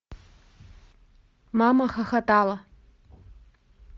мамахохотала